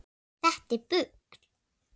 Þetta er bull.